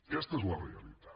aquesta és la realitat